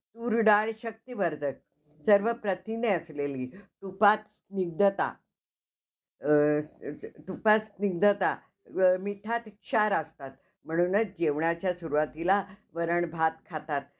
तर त्यांचं चुकून आता लग्न द~ दाखवलेले आहे त्या serial मध्ये. ती serial पण entertainment साठी इतकी चांगली आहे, मला तर खूप माझी तर खूप favourite आहे. ती प्रिशापण खूप favourite आहे.